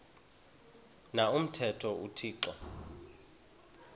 na umthetho uthixo